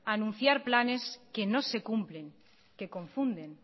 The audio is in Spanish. a anunciar planes que no se cumplen que confunden